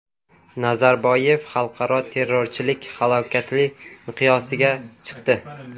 Nazarboyev: Xalqaro terrorchilik halokatli miqyosga chiqdi.